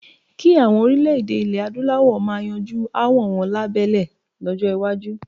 Kí àwọn orílè-èdè ilè Adúláwọ̀ máa yanjú aáwọl wọn lahbẹ́lé.